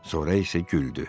Sonra isə güldü.